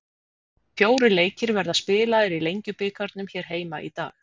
Fjórir leikir verða spilaðir í Lengjubikarnum hér heima í dag.